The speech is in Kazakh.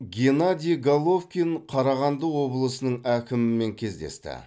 геннадий головкин қарағанды облысының әкімімен кездесті